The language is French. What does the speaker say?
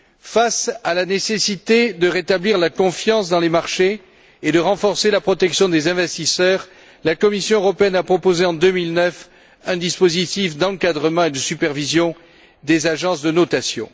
Face à la nécessité de rétablir la confiance dans les marchés et de renforcer la protection des investisseurs, la Commission européenne a proposé, en 2009, un dispositif d'encadrement et de supervision des agences de notation.